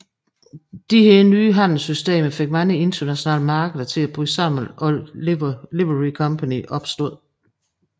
Disse nye handelssystemer fik mange internationale markeder til at bryde sammen og Livery Company opstod